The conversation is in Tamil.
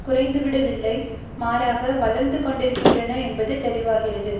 குறைந்துவிடவில்லை மாறாக வளர்ந்து கொண்டிருக்கின்றன என்பது தெளிவாகிறது